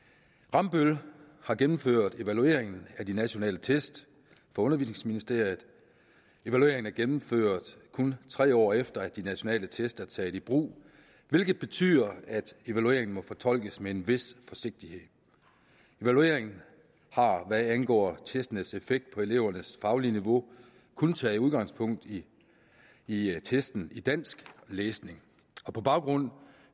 rambøll har gennemført evalueringen af de nationale test for undervisningsministeriet evalueringen er gennemført kun tre år efter at de nationale test er taget i brug hvilket betyder at evalueringen må fortolkes med en vis forsigtighed evalueringen har hvad angår testenes effekt på elevernes faglige niveau kun taget udgangspunkt i i testen i dansk læsning og på baggrund